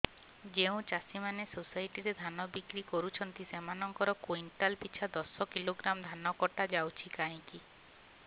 ଯେଉଁ ଚାଷୀ ମାନେ ସୋସାଇଟି ରେ ଧାନ ବିକ୍ରି କରୁଛନ୍ତି ସେମାନଙ୍କର କୁଇଣ୍ଟାଲ ପିଛା ଦଶ କିଲୋଗ୍ରାମ ଧାନ କଟା ଯାଉଛି କାହିଁକି